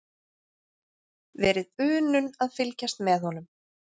Verið unun að fylgjast með honum.